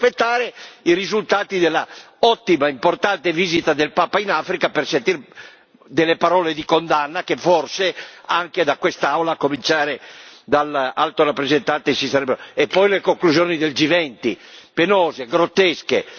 Dobbiamo aspettare i risultati dell'ottima, importante visita del Papa in Africa per sentire delle parole di condanna, che forse anche da quest'Aula, a cominciare dall'Alto rappresentante si sarebbero potute attendere E poi le conclusioni del G20 penose, grottesche!